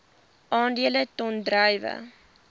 aandele ton druiwe